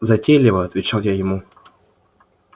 затейлива отвечал я ему